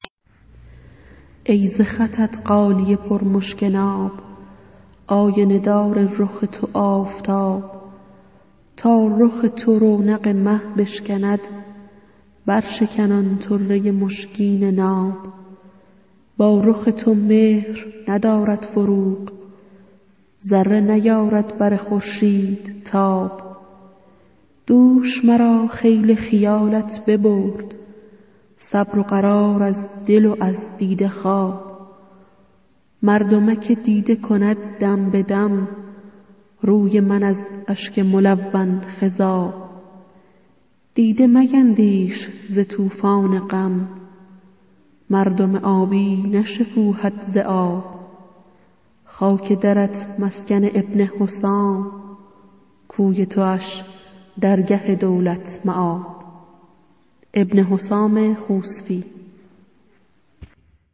ای ز خطت غالیه پر مشک ناب آینه دار رخ تو آفتاب تا رخ تو رونق مه بشکند برشکن آن طره مشگین ناب با رخ تو مهر ندارد فروغ ذره نیارد بر خورشید تاب دوش مرا خیل خیالت ببرد صبر و قرار از دل و از دیده خواب مردمک دیده کند دم به دم روی من از اشک ملون خضاب دیده میندیش ز طوفان غم مردم آبی نشکوهد ز آب خاک درت مسکن ابن حسام کوی تواش درگه دولت مآب